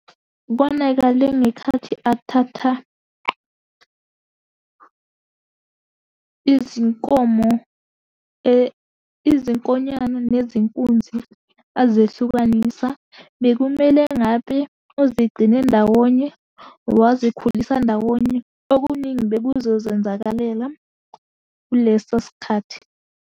Konakale ngekhathi athatha izinkomo, izinkonyane, nezinkunzi, azehlukanisa. Bekumele ngabe uzigcine ndawonye, wazikhulisa ndawonye, okuningi bekuzozenzakalela kuleso sikhathi.